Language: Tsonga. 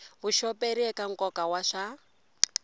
vuxoperi eka nkoka wa swa